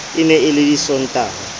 e ne e le disontaha